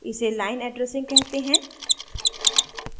इसे line addressing कहते हैं